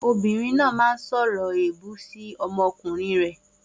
Obìnrin náà máa ń sọ̀rọ̀ èébú sí ọmọkùnrin rẹ̀.